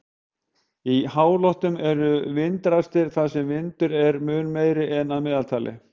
Í háloftunum eru vindrastir þar sem vindur er mun meiri en að meðaltali.